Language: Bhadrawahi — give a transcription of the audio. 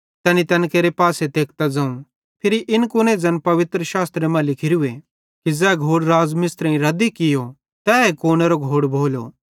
तैनी तैन केरे पासे तेकतां ज़ोवं फिरी इन कुने ज़ैन पवित्रशास्त्रे मां लिखोरूए कि ज़ै घोड़ मिस्त्रेईं रद्दी कियो तैए घोड़ कूनेरो घोड़ भोलो